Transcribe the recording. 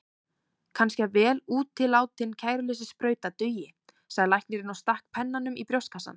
Kannski að vel útilátin kæruleysissprauta dugi, sagði læknirinn og stakk pennanum í brjóstvasann.